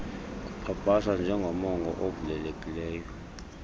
kupapashwa njengomongo ovulelekileyo